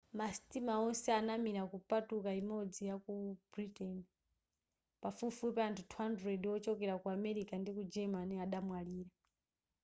ma sitima onse anamira kupatuka imodzi yaku britain pafupifupi anthu 200 wochokera ku amerika ndi ku germany adamwalira